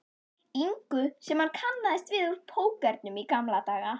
ingu sem hann kannaðist við úr pókernum í gamla daga.